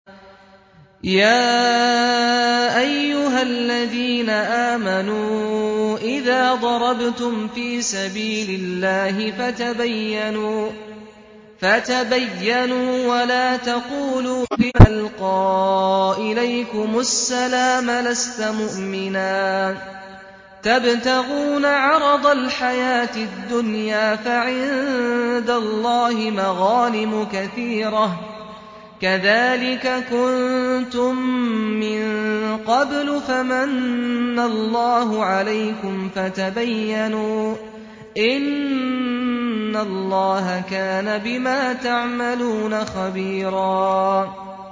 يَا أَيُّهَا الَّذِينَ آمَنُوا إِذَا ضَرَبْتُمْ فِي سَبِيلِ اللَّهِ فَتَبَيَّنُوا وَلَا تَقُولُوا لِمَنْ أَلْقَىٰ إِلَيْكُمُ السَّلَامَ لَسْتَ مُؤْمِنًا تَبْتَغُونَ عَرَضَ الْحَيَاةِ الدُّنْيَا فَعِندَ اللَّهِ مَغَانِمُ كَثِيرَةٌ ۚ كَذَٰلِكَ كُنتُم مِّن قَبْلُ فَمَنَّ اللَّهُ عَلَيْكُمْ فَتَبَيَّنُوا ۚ إِنَّ اللَّهَ كَانَ بِمَا تَعْمَلُونَ خَبِيرًا